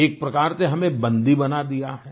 एक प्रकार से हमें बन्दी बना दिया है